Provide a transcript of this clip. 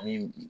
Ani bi